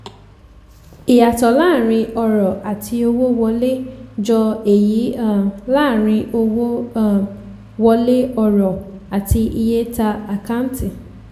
ìyàtọ̀ láàárín ọrọ̀ àti owó wọlé jọ èyí um láàárín owó um wọlé ọrọ̀ àti iye ta ákáǹtì.